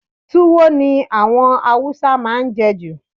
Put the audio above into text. Tuwo ni àwọn Haúsá máa ń je jù.